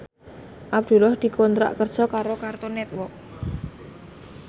Abdullah dikontrak kerja karo Cartoon Network